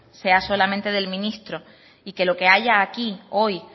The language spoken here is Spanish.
sea solamente del ministro y que lo que haya aquí hoy